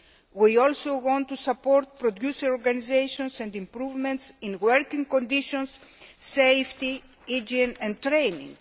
We also want to support producer organisations and improvements in working conditions, safety, hygiene and training.